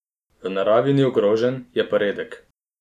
V naravi ni ogrožen, je pa redek.